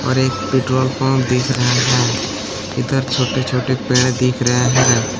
और एक petrol pump दिख रहा है इधर छोटे-छोटे पेड़ दिख रहे हैं।